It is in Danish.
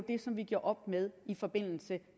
det som vi gjorde op med i forbindelse